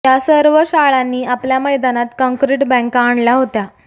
या सर्व शाळांनी आपल्या मैदानात कंक्रीट बँका आणल्या होत्या